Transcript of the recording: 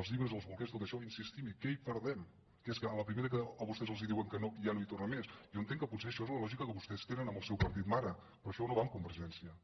els llibres els bolquers tot això insistim hi què hi perdem que és que a la primera que a vostès els diuen que no ja no hi tornen més jo entenc que potser això és la lògica que vostès tenen amb el seu partit mare però això no va amb convergència